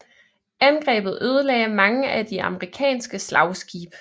Angrebet ødelagde mange af de amerikanske slagskibe